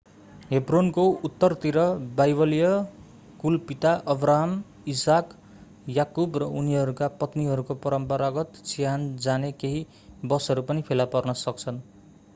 हेब्रोनको उत्तरतिर बाइबलीय कुलपिता अब्राहम इसाक याकुब र उनीहरूका पत्नीहरूको परम्परागत चिहान जाने केही बसहरू पनि फेला पार्न सकिन्छ